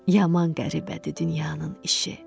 Yaman qəribədir dünyanın işi.